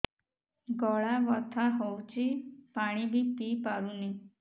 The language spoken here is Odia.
ଗଳା ବଥା ହଉଚି ପାଣି ବି ପିଇ ପାରୁନି